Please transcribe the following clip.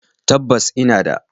Tabbas! ina da